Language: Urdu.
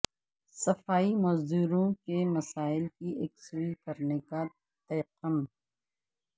صفائی مزدوروں کے مسائل کی یکسوئی کرنے کا تیقن